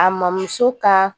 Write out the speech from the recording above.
A mamuso ka